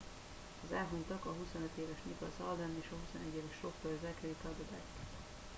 az elhunytak a 25 éves nicholas alden és a 21 éves sofőr zachary cuddeback